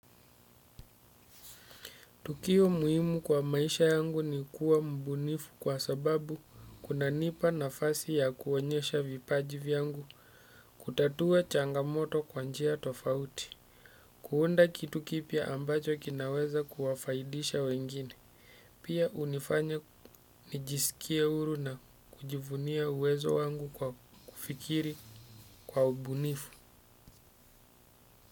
Tukio muhimu kwa maisha yangu ni kuwa mbunifu kwa sababu kuna nipa nafasi ya kuonyesha vipaji vyangu kutatua changamoto kwanjia tofauti. Kuunda kitu kipya ambacho kinaweza kuwafaidisha wengine. Pia unifanya nijisikie huru na kujivunia uwezo wangu kwa kufikiri kwa mbunifu.